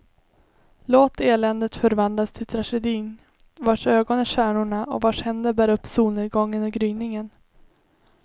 Låt eländet förvandlas till tragedin, vars ögon är stjärnorna och vars händer bär upp solnedgången och gryningen.